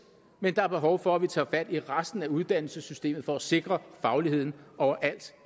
men der er behov for at vi tager fat i resten af uddannelsessystemet for at sikre fagligheden overalt